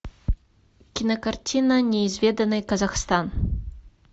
кинокартина неизведанный казахстан